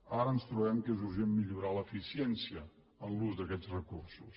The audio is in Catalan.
ara ens trobem que és urgent millorar l’eficiència en l’ús d’aquests recursos